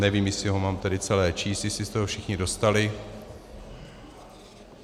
Nevím, jestli ho mám tedy celé číst, jestli jste ho všichni dostali...